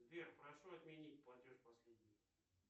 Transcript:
сбер прошу отменить платеж последний